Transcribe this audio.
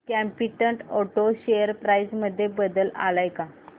competent auto share price मध्ये बदल आलाय का